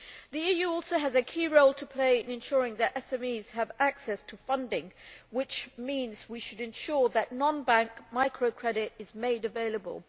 The EU also has a key role to play in ensuring that SMEs have access to funding, which means we should ensure that non bank microcredit is made available.